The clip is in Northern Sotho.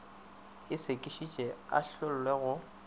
a sekišwe a ahlolwe go